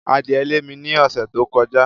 Adìẹ lé mi ní ọ̀sẹ̀ tó kọjá.